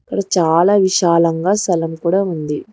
ఇడ చాలా విశాలంగా సలం కూడా ఉంది.